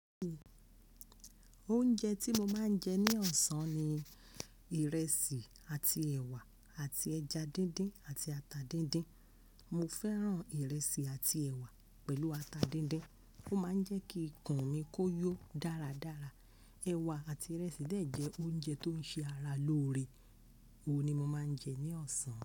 Oúnjẹ tí mo máa ń jẹ ní ọ̀sán ni ìrẹsì àti ẹ̀wà àti ẹja díndín àti ata díndín. Mo fẹ́ràn ìrẹsì àti ẹ̀wà pẹ̀lú ata díndín. Ó máa ń jẹ́ kí ikùn mi kó yó dáradára. Ẹ̀wà àti ìrẹsì dẹ̀ jẹ́ oúnjẹ tó ń ṣe ara lóore. Ó ni mo máa ń jẹ ní ọ̀sán.